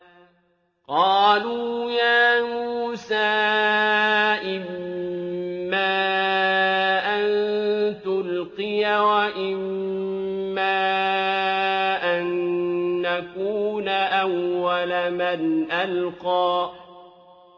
قَالُوا يَا مُوسَىٰ إِمَّا أَن تُلْقِيَ وَإِمَّا أَن نَّكُونَ أَوَّلَ مَنْ أَلْقَىٰ